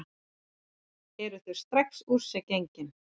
Eru þau strax úr sér gengin?